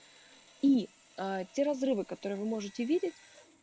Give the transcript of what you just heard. и ээ те разрывы которые вы можете видеть